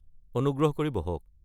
অনুগ্ৰহ কৰি বহক।